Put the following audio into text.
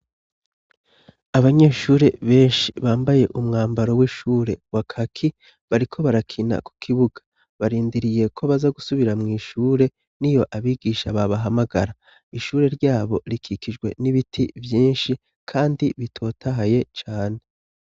Abanyeshure benshi bambaye umwambaro w'ishure wa kaki, bariko barakina ku kibuga. Barindiriye ko baza gusubira mw'ishure niyo abigisha babahamagara, ishure ryabo rikikijwe n'ibiti vyinshi kandi bitotahaye cane.